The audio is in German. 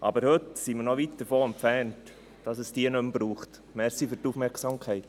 Aber heute sind wir noch weit davon entfernt, dass es diese nicht mehr braucht.